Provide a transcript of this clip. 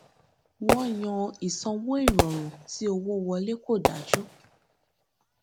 wọn yan ìsanwó ìrọrùn tí owó wọlé kò dájú